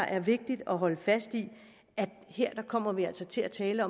er vigtigt at holde fast i her kommer vi altså til at tale